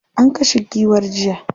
An kashe giwar jiya.